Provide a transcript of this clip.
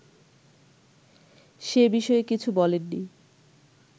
সে বিষয়ে কিছু বলেননি